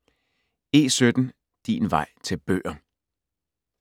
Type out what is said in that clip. E17 Din vej til bøger